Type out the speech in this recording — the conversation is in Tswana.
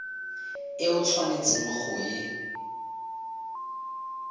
e o tshwanetseng go e